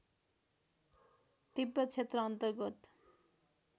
तिब्बत क्षेत्र अन्तर्गत